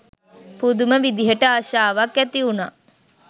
පුදුම විදිහට ආශාවක් ඇති වුණා